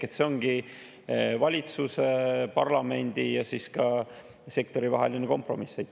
Ehk see ongi valitsuse, parlamendi ja sektori vaheline kompromiss.